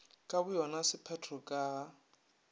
ka boyona sephetho ka ga